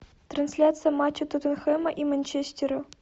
трансляция матча тоттенхэма и манчестера